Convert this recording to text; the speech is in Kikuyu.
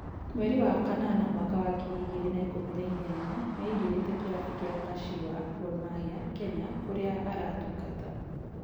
Mweri wa kanana mwaka wa ngiri igĩrĩ na ikũmi na inyanya nĩ aingĩrire kĩrabu kĩa Kashiwa Gor Mahia, Kenya kũrĩa aratungata.